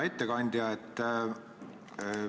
Hea ettekandja!